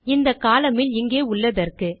இந்த கோலம்ன் இல் இங்கே உள்ளதற்கு